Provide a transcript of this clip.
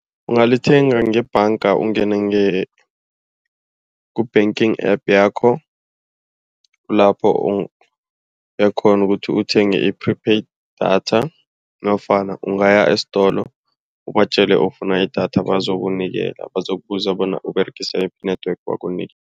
Ungalithenga ngebhanga ungene ku-banking App yakho. Lapho uyakghona ukuthi uthenge i-prepaid data nofana ungaya esitolo ubatjele ufuna idatha. Bazokunikela, bazokubuza bona uberegisa yiphi i-network